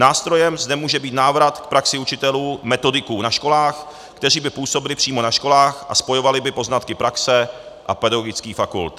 Nástrojem zde může být návrat k praxi učitelů-metodiků na školách, kteří by působili přímo na školách a spojovali by poznatky praxe a pedagogických fakult.